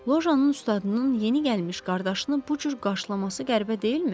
Lojanın ustadının yeni gəlmiş qardaşını bu cür qarşılaması qəribə deyilmi?